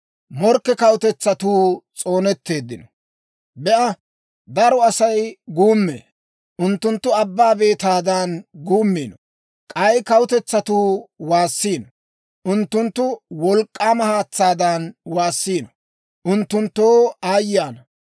Be'a, daro Asay guummee; unttunttu abbaa beetaadan guummiino. K'ay kawutetsatuu waassiino; unttunttu wolk'k'aama haatsaadan waassiino. Unttunttoo aayye ana.